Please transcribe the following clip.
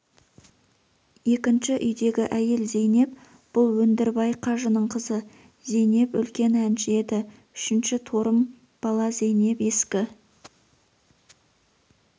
екінші үйдегі әйел зейнеп бұл өндірбай қажының қызы зейнеп үлкен әнші еді үшінші торым бала зейнеп ескі